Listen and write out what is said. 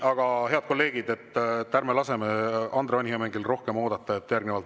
Aga, head kolleegid, ärme laseme Andre Hanimäel rohkem oodata.